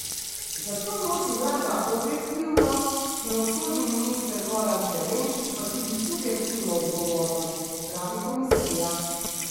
Zato nosi vlada objektivno, pravosodni minister Goran Klemenčič pa tudi subjektivno odgovornost, pravi komisija.